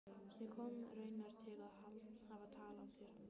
Ég kom raunar til að hafa tal af þér.